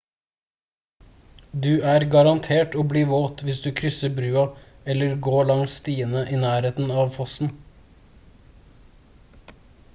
du er garantert å bli våt hvis du krysser brua eller går langs stiene i nærheten av fossen